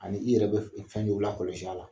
Ani i yɛrɛ bɛ fɛn dɔ lakɔlɔsi a la